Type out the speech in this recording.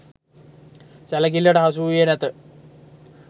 සැලකිල්ලට හසුවූයේ නැත.